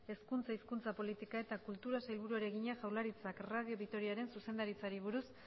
hezkuntza hizkuntza politika eta kulturako sailburuari egina jaurlaritzak radio vitoriaren zuzendaritzari buruz